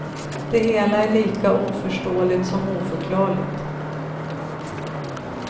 Det hela är lika oförståligt som oförklarligt.